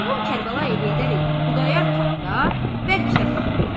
Mərhum Kərbəlayı Heydər ilə Xudayar Katda bərk rəfiqdirlər.